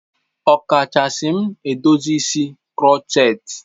Ọkachasị m edozi isi crotchet.